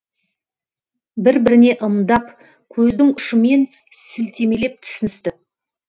бір біріне ымдап көздің ұшымен сілтемелеп түсіністі